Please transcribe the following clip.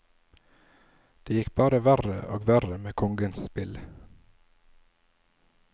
Det gikk bare verre og verre med kongens spill.